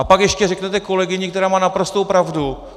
A pak ještě řeknete kolegyni, která má naprostou pravdu.